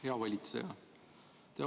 Hea valitseja!